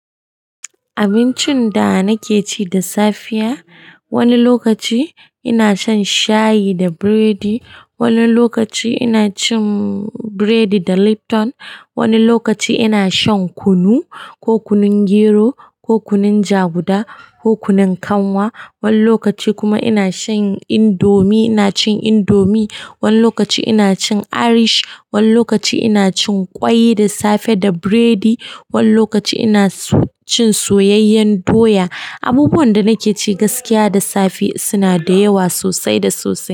Abincin da nake ci da safiya, wani lokaci ina shan shayi da biredi, wani lokaci ina cin biredi da Lipton, wani lokaci ina shan kunu ko kunun gero, ko kunun jaguda, ko kunun kanwa. Wani lokaci kuma ina shan indomi, ina cin indomi. Wani lokaci ina cin irish, wani lokaci ina cin ƙwai da safe da biredi. Wani lokaci ina cin soyayyen doya. Abubuwan da nake ci gaskiya da safe suna da yawa sosai da sosai.